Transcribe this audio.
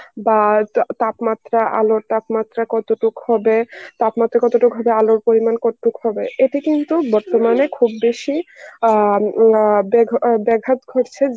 বা তাপমাত্রা আলোর তাপমাত্রা কতটুক হবে, তাপমাত্রা কতটুক হবে আলোর পরিমাণ কতটুকু হবে এ থেকেই তো বর্তমানে খুব বেশি আ লা ব্যাখা ব্যাঘাত ঘটছে